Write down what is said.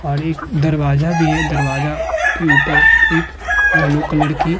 और एक दरवाजा भी है। दरवाजा की ऊपर एक येलो कलर की --